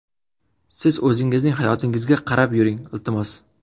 Siz o‘zingizning hayotingizga qarab yuring, iltimos!!!